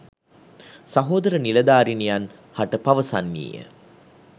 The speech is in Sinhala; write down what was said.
සහෝදර නිලධාරීනියන් හට පවසන්නීය.